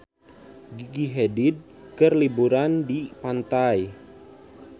Gigi Hadid keur liburan di pantai